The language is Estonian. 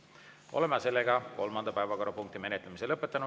Oleme kolmanda päevakorrapunkti menetlemise lõpetanud.